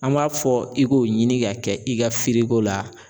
An b'a fɔ i k'o ɲini ka kɛ i ka firiko ko la